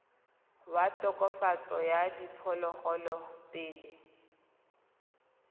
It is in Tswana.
wa tokafatso ya diphologolo pele